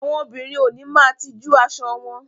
Àwọn òbinrín ó ni máà tijú aṣọ wọn